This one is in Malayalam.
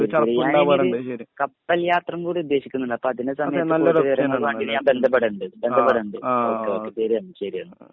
കപ്പൽ യാത്ര കൂടെഉദ്ധേശിക്ണ്ട് അതിനെസംബന്ധിച്ച കൂടുതൽ വിവരങ്ങൾക് ഞൻ ബന്ധപ്പെടേണ്ട് ബന്ധപെടണ്ട ഒകെ ഓക്കേ ശെരിയെന്ന ശെരിയെന്ന